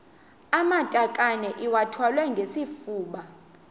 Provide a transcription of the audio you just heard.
amatakane iwathwale ngesifuba